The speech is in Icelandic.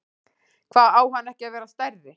Hva, á hann ekki að vera stærri?